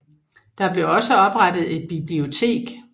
Der blev også oprettet et bibliotek